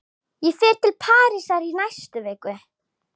Ég fer til Parísar í næstu viku.